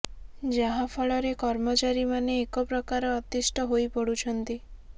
ଯାହା ଫଳରେ କର୍ମଚାରୀ ମାନେ ଏକ ପ୍ରକାର ଅତିଷ୍ଠ ହୋଇପଡ଼ୁଛନ୍ତି